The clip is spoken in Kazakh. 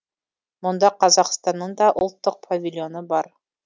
мұнда қазақстанның да ұлттық павильоны бар